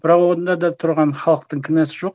бірақ онда да тұрған халықтың кінәсі жоқ